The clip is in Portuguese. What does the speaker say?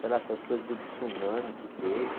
Sei lá, essas coisas do tsunami que teve.